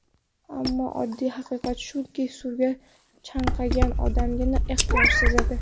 Ammo oddiy haqiqat shuki, suvga chanqagan odamgina ehtiyoj sezadi.